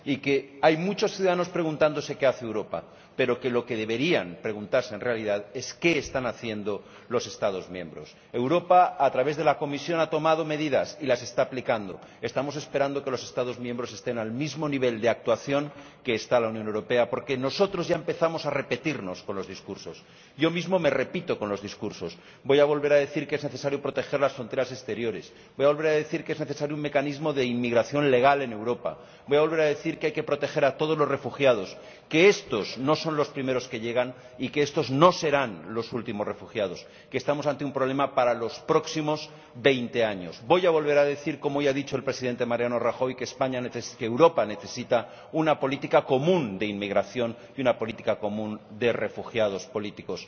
Y que hay muchos ciudadanos preguntándose qué hace Europa, pero que lo que deberían preguntarse en realidad es qué están haciendo los Estados miembros. Europa, a través de la Comisión, ha tomado medidas y las está aplicando. Estamos esperando a que los Estados miembros estén al mismo nivel de actuación que está la Unión Europea porque nosotros ya empezamos a repetirnos con los discursos. Yo mismo me repito con los discursos. Voy a volver a decir que es necesario proteger las fronteras exteriores. Voy a volver a decir que es necesario un mecanismo de inmigración legal en Europa. Voy a volver a decir que hay que proteger a todos los refugiados, que estos no son los primeros que llegan y que estos no serán los últimos, que estamos ante un problema para los próximos veinte años. Voy a volver a decir —como hoy ha dicho el presidente Mariano Rajoy— que Europa necesita una política común de inmigración y una política común de refugiados políticos.